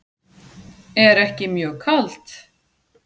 Er ekki mjög kalt?